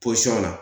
la